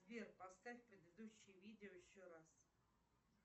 сбер поставь предыдущее видео еще раз